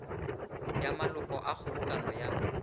ya maloko a kgobokano ya